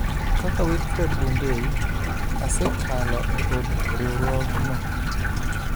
Kaka Wilfred Bungei, asekalo e od riwruogno.